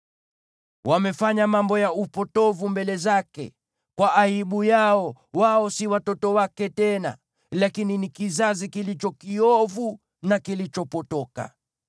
Wamefanya mambo ya upotovu mbele zake; kwa aibu yao, wao si watoto wake tena, lakini ni kizazi kilicho kiovu na kilichopotoka.